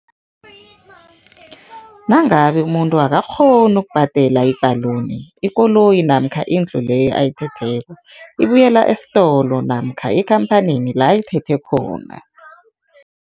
Nangabe umuntu akangakghoni ukubhadela i-balloon, ikoloyi namkha indlu leyo ayithetheko, ibuyela esitolo namkha ekhamphanini la ayithethe khona.